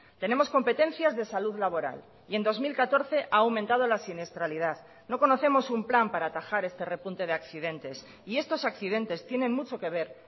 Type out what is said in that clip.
tenemos competencias de salud laboral y en dos mil catorce a aumentado la siniestralidad no conocemos un plan para atajar este repunte de accidentes y estos accidentes tienen mucho que ver